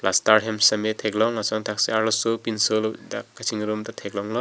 plaster hem sitame thek long lason thak thaksi arloso pinso kachingrum ta thek long lo.